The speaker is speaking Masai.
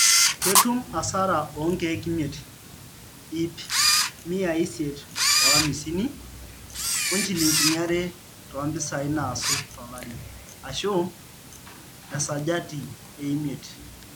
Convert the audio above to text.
Ketum asara oonkeke imiet, ip miai isiet ohamsini osnchilinini are toompisai naasu tolari, ashu esajati eimiet